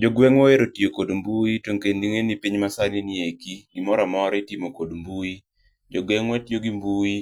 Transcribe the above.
Jogwengwa ohero tiyo kod mbui tokendo ingeni pinywa ma sani nieki, gimoro amora itimo gi mbui. Jogwengwa tiyo gi mbui